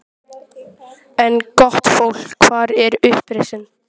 En gott fólk: Hvar er uppreisnin?